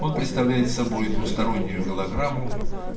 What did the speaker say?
он представляет собой двустороннюю голограмму